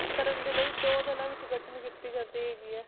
ਕਰਨ ਦੇ ਲਈ ਦੋ ਜਾਣਿਆਂ ਵਿੱਚ ਗਠਨ ਕੀਤੀ ਜਾਂਦੀ ਹੈਗੀ ਹੈ।